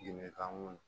Diinɛ kanu